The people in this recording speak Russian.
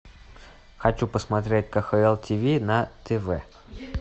хочу посмотреть кхл ти ви на тв